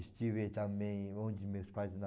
Estive também onde meus pais